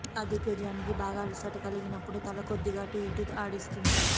ఆ దిగ్గజానికి బాగా అలసట కలిగినప్పుడు తల కొద్దిగా అటు ఇటూ ఆడిస్తుంది